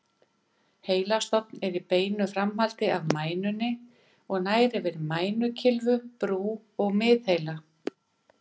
Heilastofn er í beinu framhaldi af mænunni og nær yfir mænukylfu, brú og miðheila.